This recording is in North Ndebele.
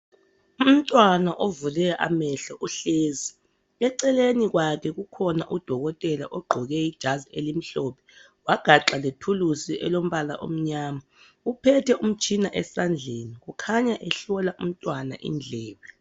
Umntwana ovule amehlo uhlezi. Eceleni kwakhe kukhona udokotela ogqoke ijazi elimhlophe wagaxa lethulusi elombala omnyama. Uphethe umtshina esandleni, kukhanya ehlola umntwana indlebe.